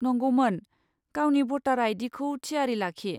नंगौमोन। गावनि भटार आई.डी.खौ थियारि लाखि।